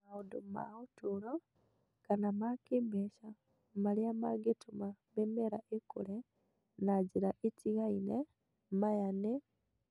Maũndũ ma ũtũũro kana ma kĩĩmbeca marĩa mangĩtũma mĩmera ĩkũre na njĩra itigaine (maya nĩ